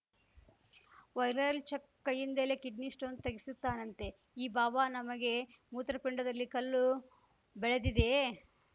viral check ಕೈಯಿಂದಲೇ kidney stone ತೆಗೆಸುತ್ತಾನಂತೆ ಈ ಬಾಬಾ ನಮಗೆ ಮೂತ್ರಪಿಂಡದಲ್ಲಿ ಕಲ್ಲು ಬೆಳೆದಿದೆಯೇ